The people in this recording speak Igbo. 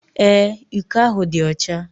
Ee, iko ahụ dị ọcha.